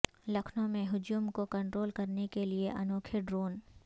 لکھنو میں ہجوم کو کنٹرول کرنے کے لئے انوکھے ڈرون